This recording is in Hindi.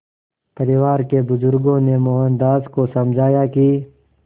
परिवार के बुज़ुर्गों ने मोहनदास को समझाया कि